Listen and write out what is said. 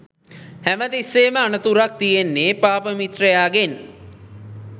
හැම තිස්සේම අනතුරක් තියෙන්නේ පාප මිත්‍රයාගෙන්